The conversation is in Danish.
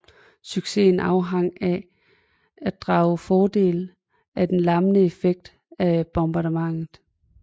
Succesen afhang af at drage fordel af den lammende effekt af bombardementet